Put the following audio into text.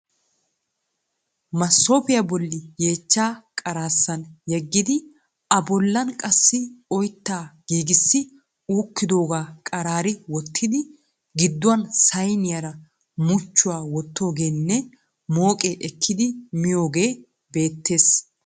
Masoofiya bolli yeechchaa qaraassan yeggidi a bollan qassi oyittaa giigissi uukkidoogaa qaraari wottidi gidduwan sayiniyara muchchuwa wottoogeenne mooqee ekkidi miyogee beettes.